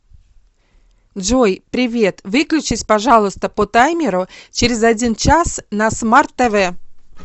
джой привет выключись пожалуйста по таймеру через один час на смарт тв